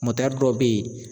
dɔw bɛ yen